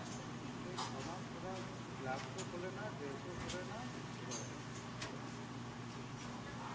কিন্তু ওই ছ মাস ওরা gloves ও খোলে না, dress ও খোলে না, কিছু করেনা.